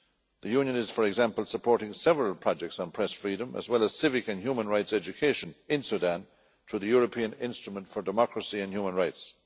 The Union is, for example, supporting several projects on press freedom, as well as civic and human rights education in Sudan through the European Instrument for Democracy and Human Rights.